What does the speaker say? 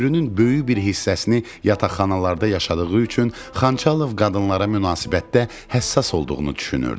Ömrünün böyük bir hissəsini yataqxanalarda yaşadığı üçün Xançalov qadınlara münasibətdə həssas olduğunu düşünürdü.